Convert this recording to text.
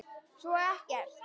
Svo ekkert.